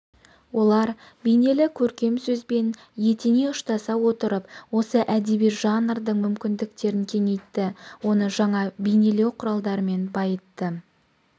олар бейнелі көркем сөзбен етене ұштаса отырып осы әдеби жанрдың мүмкіндіктерін кеңейтті оны жаңа бейнелеу құралдарымен байытты